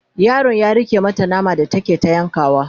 yaron ya rike mata nama da take ta yankawa